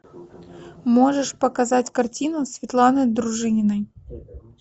можешь показать картину светланы дружининой